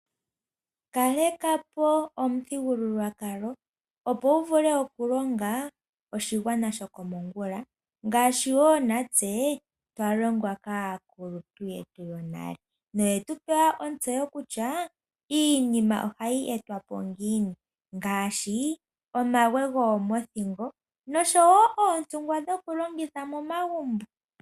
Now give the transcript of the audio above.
Kaleka po omuthigululwkalo opo wu vule okulonga oshigwana shokomongula ngaashi natse twa longwa kaakuluntu yetu yonale, noye tu pa ontseyo kutya iinima ohayi etwa po ngiini ngaashi omagwe gomoothingo noontungwa dhoku longitha momagumbo.